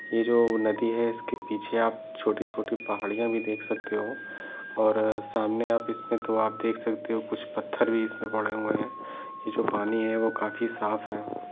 ये जो नदी है इसके पीछे आप छोटी छोटी पहाड़ियाँ भी देख सकते हो और सामने आप इस पे तो आप देख सकते हो कुछ पत्थर भी इस पे पड़े हुए हैं जो पानी है वो काफी साफ है।